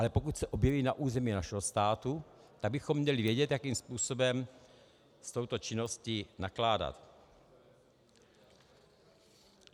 Ale pokud se objeví na území našeho státu, tak bychom měli vědět, jakým způsobem s touto činností nakládat.